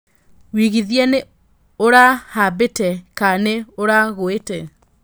wĩigithia nĩ ũra haĩmbĩte ka nĩ ũra ngũite